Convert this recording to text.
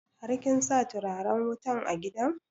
Har kin sa turaren wutan a gidan?